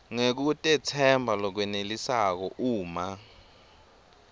ngekutetsemba lokwenelisako uma